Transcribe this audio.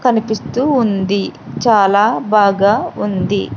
కనిపిస్తూ ఉంది చాలా బాగా ఉంది.